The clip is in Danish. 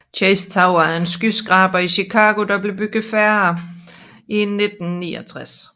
Chase Tower er en skyskraber i Chicago der blev bygget færdig i 1969